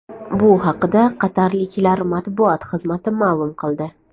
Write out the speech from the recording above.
Bu haqida qatarliklar matbuot xizmati ma’lum qildi .